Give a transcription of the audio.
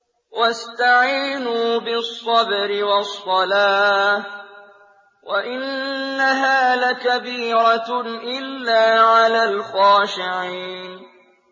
وَاسْتَعِينُوا بِالصَّبْرِ وَالصَّلَاةِ ۚ وَإِنَّهَا لَكَبِيرَةٌ إِلَّا عَلَى الْخَاشِعِينَ